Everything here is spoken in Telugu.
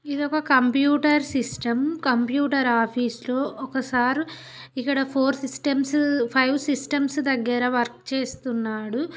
ఇది ఒక కంప్యూటర్ సిస్టం కంప్యూటర్ ఆఫీసు లో ఒక సార్ ఇక్కడ ఫోర్ సిస్టమ్స్ ఫైవ్ సిస్టమ్స్ దగ్గర వర్క్ చేస్తున్నాడు.